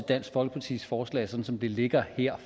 dansk folkepartis forslag sådan som det ligger her